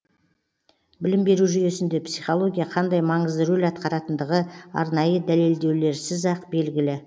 білім беру жүйесінде психология қандай маңызды рөл атқаратындығы арнайы дәлелдеулеріз ақ белгілі